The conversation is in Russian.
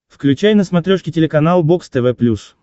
включай на смотрешке телеканал бокс тв плюс